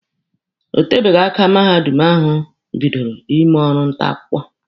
O tebeghị aka mahadum ahụ bidoro ime orụ nta akwụkwọ.